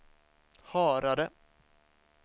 Harare